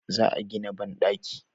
Za a gina banɗaki